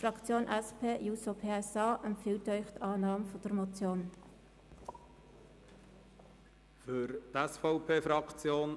Die SP-JUSO-PSA-Fraktion empfiehlt Ihnen die Annahme der Motion.